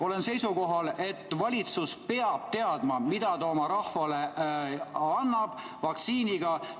Olen seisukohal, et valitsus peab teadma, mida ta oma rahvale vaktsiiniga annab.